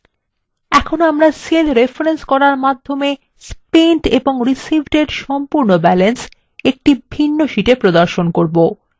এখন আমরা cell reference করার মাধ্যমে spent এবং received এর সম্পূর্ণ balance একটি ভিন্ন শীটে প্রদর্শন করবো